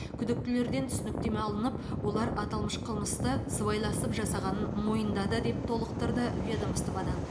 күдіктілерден түсініктеме алынып олар аталмыш қылмысты сыбайласып жасағанын мойындады деп толықтырды ведомстводан